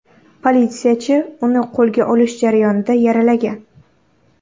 Politsiyachi uni qo‘lga olish jarayonida yaralagan.